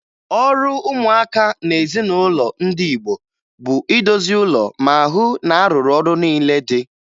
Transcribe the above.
Ọrụ ụmụaka n'ezinụlọ ndị Igbo bụ idozi ụlọ ma hụ na a rụrụ ọrụ niile dị